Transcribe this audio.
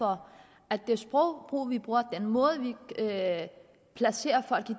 for at det sprog vi bruger den måde vi placerer folk